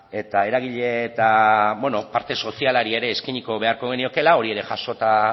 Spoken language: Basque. eta eragile eta parte sozialari ere eskainiko beharko geniokeela hori ere jasota